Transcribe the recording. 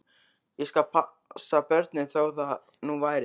Ég skal passa börnin, þó það nú væri.